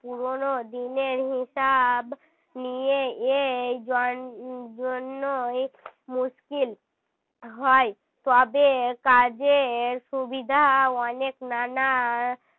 পুরোনো দিনের হিসাব নিয়েই জন~ জন্যই মুশকিল হয় তবে কাজের সুবিধা অনেক নানা